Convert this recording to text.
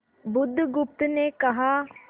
बुधगुप्त ने कहा